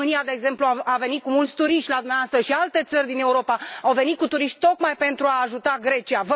România, de exemplu, a venit cu mulți turiști la dumneavoastră și alte țări din Europa au venit cu turiști tocmai pentru a ajuta Grecia.